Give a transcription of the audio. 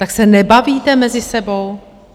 Tak se nebavíte mezi sebou?